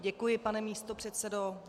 Děkuji, pane místopředsedo.